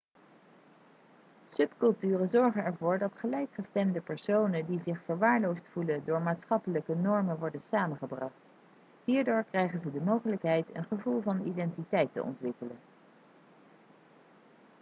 subculturen zorgen ervoor dat gelijkgestemde personen die zich verwaarloosd voelen door maatschappelijke normen worden samengebracht hierdoor krijgen ze de mogelijkheid een gevoel van identiteit te ontwikkelen